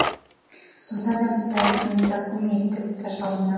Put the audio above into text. сонда да біз тарихтың тағзым еттік тажалына